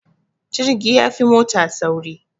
Jirgi yafi mota sauri